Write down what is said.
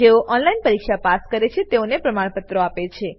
જેઓ ઓનલાઈન પરીક્ષા પાસ કરે છે તેઓને પ્રમાણપત્રો આપે છે